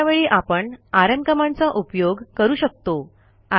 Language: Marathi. अशा वेळी आपण आरएम कमांडचा उपयोग करू शकतो